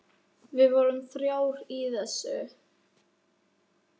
Við vorum þrjár í þessu.